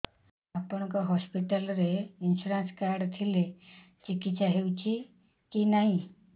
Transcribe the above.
ଆପଣଙ୍କ ହସ୍ପିଟାଲ ରେ insurance card ଥିଲେ ଚିକିତ୍ସା ହେଉଛି କି ନାଇଁ